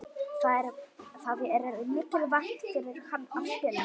Það er mikilvægt fyrir hann að spila.